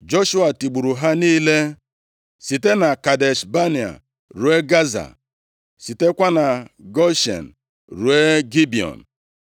Joshua tigburu ha niile site na Kadesh Banea ruo Gaza, sitekwa na Goshen + 10:41 Ka anyị ghara iche na Goshen nke a, bụ otu ihe ya na nke ahụ dị nʼakụkụ mmiri nʼala Ijipt, nke a dị ndịda ala Palestia. \+xt Jos 11:16; 15:51\+xt* ruo Gibiọn.